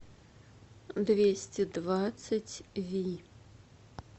двести двадцать ви